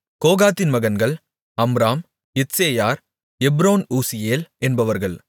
கோகாத்தின் மகன்கள் Amram Izhar Hebron Uzziel என்பவர்கள்